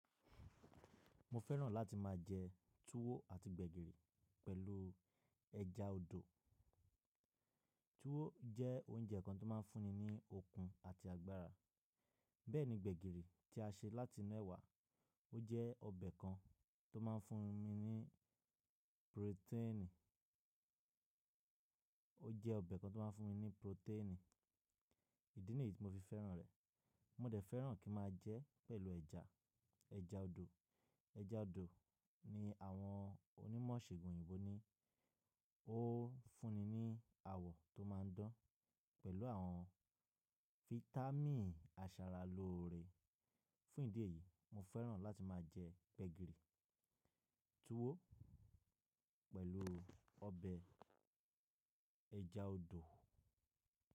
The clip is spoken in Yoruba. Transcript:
Mo fẹ́ràn láti máa jẹ tuwo àti gbẹ̀gìrì pẹ̀lú ẹja odò. Tuwo jẹ́ oúnjẹ kan tó máa ń fúnni ní okun àti agbára, bẹ́ẹ̀ ni gbẹ̀gìrì tí a ṣe láti inú ẹ̀wà, ó jẹ́ ọbẹ̀ kan tó máa ń fún mi ní proteenì, ó jẹ́ ọbẹ̀ kan tó máa ń fún mi ní proteenì. Ìdí nìyí tí mo fi fẹ́ràn rẹ̀. Mo dẹ̀ fẹ́ràn kí n máa jẹ ẹ́ pẹ̀lú ẹja, ẹja odò. Ẹja odò ni àwọn onímọ̀ Iṣègun òyìnbó ní ó fúnni ní àwọ̀ tó máa ń dán pẹ̀lú àwọn fitami aṣaralóore. Fún ìdí èyí, mo fẹ́ràn láti máa jẹ gbẹ̀gìrì, tuwo pẹ̀lú ọbẹ̀ ẹja odò.